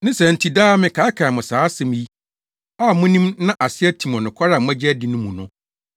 Ne saa nti daa mekaakae mo saa asɛm yi a munim na ase atim wɔ nokware a moagye adi no mu no.